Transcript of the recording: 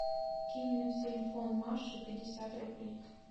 кинь на телефон маши пятьдесят рублей